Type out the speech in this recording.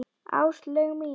Áslaug mín!